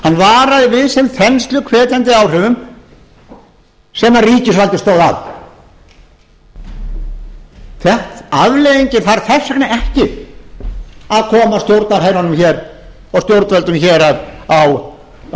varaði við þeim þensluhvetjandi áhrifum sem ríkisvaldið stóð að afleiðingin þarf þess vegna ekki að koma stjórnarherrunum hér og stjórnvöldum hér á